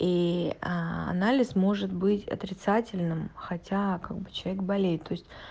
и анализ может быть отрицательным хотя как бы человек болеет то есть